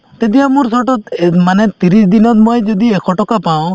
তেতিয়া মোৰ short তত এহ্ মানে ত্ৰিশ দিনত মই যদি এশ টকা পাওঁ